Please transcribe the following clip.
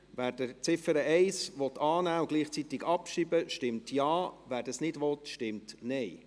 Wer die Ziffer 1 annehmen und gleichzeitig abschreiben will, stimmt Ja, wer das nicht will, stimmt Nein.